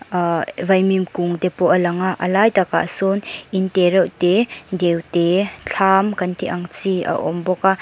ahh vaimim kung te pawh a lang a a lai takah sawn in te reuh te deute thlam kan tih ang chi a awm bawk a.